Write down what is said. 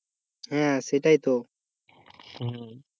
হ্যাঁ সেটাই তো।